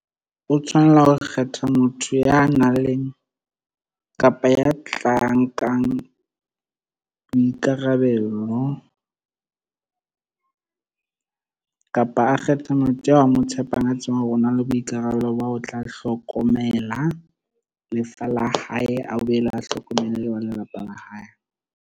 O tshwanela ho kgetha motho ya nang le kapa ya tlang, nkang boikarabelo kapa a kgetha motho a mo tshepang, a tsebang hore o na le boikarabelo ba ho tla hlokomela lefa la hae a boele a hlokomele le ba lelapa la hae.